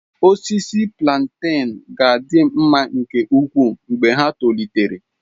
Osisi plantain ga-adị mma nke ukwuu mgbe ha tolitere.